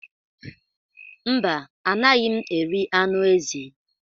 Mba, anaghị m eri anụ ezi.